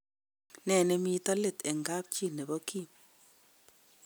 Ne nemiten let eng kapchi nebo Kim.